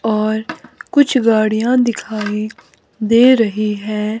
और कुछ गाड़ियां दिखाई दे रही है।